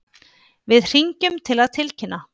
Við hringjum til að tilkynna.